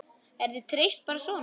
Er þér treyst bara svona?